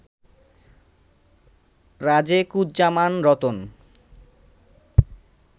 Rajekuzzaman Ratan